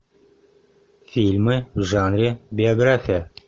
фильмы в жанре биография